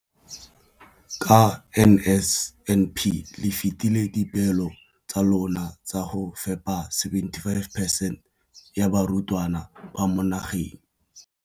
Ka NSNP le fetile dipeelo tsa lona tsa go fepa masome a supa le botlhano a diperesente ya barutwana ba mo nageng.